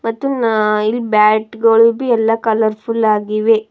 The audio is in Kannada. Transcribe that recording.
ಮತ್ತು ನ- ಇಲ್ ಬ್ಯಾಟ್ ಗಳ್ ಬಿ- ಎಲ್ಲಾ ಕಲರ್ ಫುಲ್ ಆಗಿವೆ.